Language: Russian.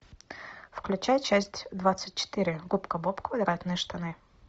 включай часть двадцать четыре губка боб квадратные штаны